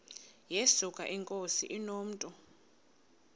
yesuka inkosi inomntu